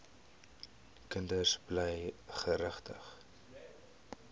kinders bly geregtig